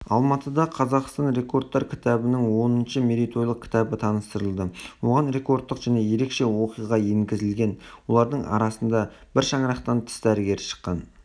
алматыда қазақстан рекордтар кітабының оныншы мерейтойлық кітабы таныстырылды оған рекордтық және ерекше оқиға енгізілген олардың арасында бір шаңырақтан тіс дәрігері шыққан